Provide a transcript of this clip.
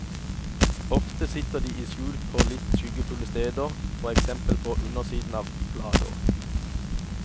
Ofte sitter de i skjul på litt skyggefulle steder, for eksempel på undersiden av blader.